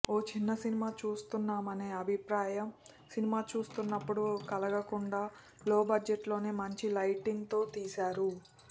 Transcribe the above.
ఓ చిన్న సినిమా చూస్తున్నామనే అభిప్రాయం సినిమా చూస్తున్నపుడు కలగకుండా లో బడ్జెట్లోనే మంచి లైటింగ్తో తీశారు